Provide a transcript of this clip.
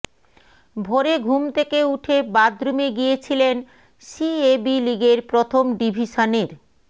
ভোরে ঘুম থেকে উঠে বাথরুমে গিয়েছিলেন সিএবি লিগের প্রথম ডিভিশনের